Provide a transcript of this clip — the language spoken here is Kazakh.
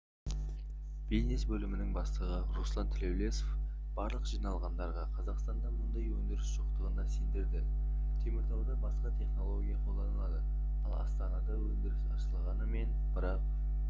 бизнес бөлімінің бастығы руслан тілеулесов барлық жиналғандарға қазақстанда мұндай өндіріс жоқтығына сендірді теміртауда басқа технология қолданылады ал астанада өндіріс ашылғанымен бірақ